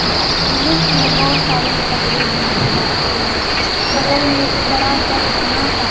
जुलूस में बहुत सारे झगड़ा भी हो जाते हैं बगल में एक बड़ा सा घना सा --